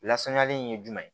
Lasanyali in ye jumɛn ye